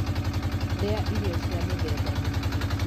Rĩa irio cia mĩthemba mĩingĩ.